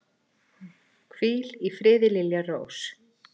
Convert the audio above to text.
Hvíl í friði, Lilja Rós.